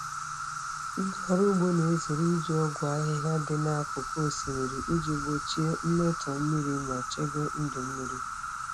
Ndị ọrụ ugbo na-ezere iji ọgwụ ahịhịa dị n'akụkụ osimiri iji gbochie mmetọ mmiri ma chebe ndụ mmiri.